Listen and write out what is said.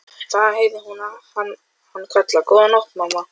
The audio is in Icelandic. Þaðan heyrði hún hann kalla: Góða nótt mamma.